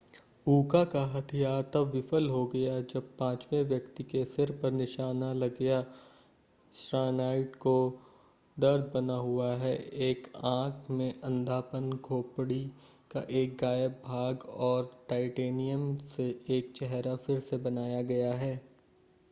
उका का हथियार तब विफल हो गया जब पांचवें व्यक्ति के सिर पर निशाना लगया श्नाइडर को दर्द बना हुआ है एक आंख में अंधापन खोपड़ी का एक गायब भाग और टाइटेनियम से एक चेहरा फिर से बनाया गया है